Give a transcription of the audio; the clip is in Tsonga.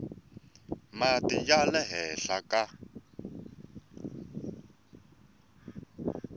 mati ya le henhla ka